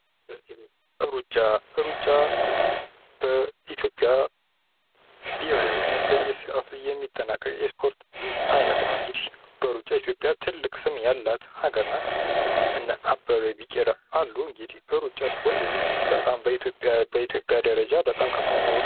ሩጫ በኢትዮጵያ ብሄራዊነት በየሰዓቱ የሚጠናቀቅ የስፖርት አይነት ነው። እንግዲህ በሩጫ ኢትዮጵያ ትልቅ ስም ያላት ሀገር ናት ። እንዲህ እነ አበበ ቢቂላ አሉ እንዲህ ሩጫ ስፖርት በጣም በኢትዮጵያ በኢትዮጵያ ደረጃ በጣም ከፍተኛ ቦታ አለው።